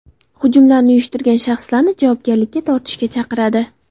Hujumlarni uyushtirgan shaxslarni javobgarlikka tortishga chaqiradi.